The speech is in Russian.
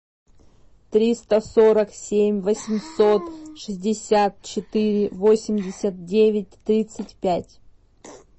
триста сорок семь восемьсот шестьдесят четыре восемьдесят девять тридцать пять